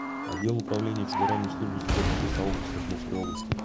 отдел управления федеральной службы судебных приставов по свердловской области